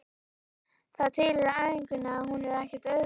Það tilheyrir æfingunni og hún er ekkert auðveld.